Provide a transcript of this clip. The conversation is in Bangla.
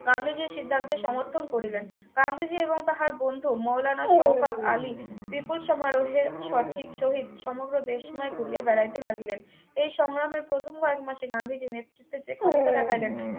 গান্ধীজীর সিদ্ধান্তে সমর্থন করিলেন গান্ধীজী এবং তাহার বন্ধু মৌলনা শওকত আলী বিপুল সমারোহের সঠিক সহিত সমগ্র দেশময় ঘুরিয়া বেড়াইতে লাগিলেন এই সংগ্রামের প্রথম কয়েক মাসে গান্ধীজি নেতৃত্বের যে ক্ষমতা দেখাইলেন